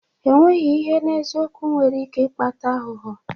Emeghị ihe n'eziokwu nwere ike ịkpata aghụghọ.